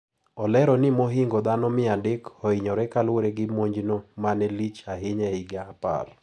Olero ni mohingo dhano mia adek ohinyore kalure gi monjno manelich ahinya ehigni apar.